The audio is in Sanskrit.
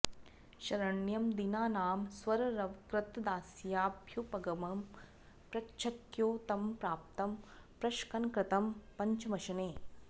शरण्यं दीनानां स्वररवकृतदास्याभ्युपगमं प्रचख्यौ तं प्राप्तं प्रशकनकृतं पञ्चमशने